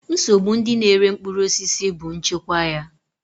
Nsogbu ndị na-ere mkpụrụ osisi bụ nchekwa ya.